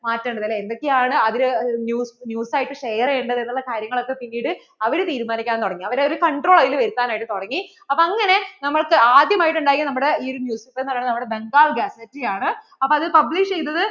മാറ്റേണ്ടത് അല്ലെ എന്തൊക്കെ ആണ് അതിൽ news ആയിട്ട് share ചെയ്യേണ്ടതെന്നുള്ള കാര്യങ്ങൾ ഒക്കെ പിന്നീട് അവർ തീരുമാനിക്കാൻ തുടങ്ങി അവർ ഒരു control വരുത്താൻ ആയിട്ട് തുടങ്ങി അപ്പോൾ അങ്ങനെ നമുക്ക് ആദ്യം ആയിട്ടു എന്തായി നമ്മടെ ഈ ഒരു എന്ന് പറയുന്നത് Bangal ആണ് അപ്പോൾ അത് publish ചെയ്‌തത്‌